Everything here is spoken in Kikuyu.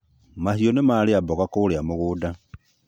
Mahiũ nĩ marĩa mboga kũria mũgũnda